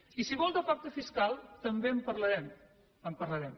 i si vol de pacte fiscal també en parlarem en parlarem